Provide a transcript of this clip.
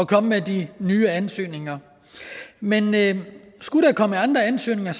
komme med de nye ansøgninger men men skulle der komme andre ansøgninger